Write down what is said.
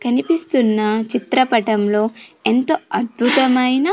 కనిపిస్తున్న చిత్రపటంలో ఎంతో అద్భుతమైన.